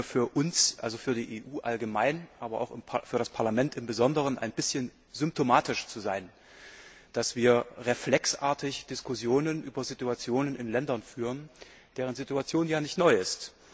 Es scheint mir für die EU allgemein, aber auch für das Parlament im Besonderen ein bisschen symptomatisch zu sein, dass wir reflexartig Diskussionen über Situationen in Ländern führen, deren Situation ja nicht neu ist.